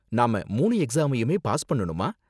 நாம மூணு எக்ஸாமையுமே பாஸ் பண்ணனுமா?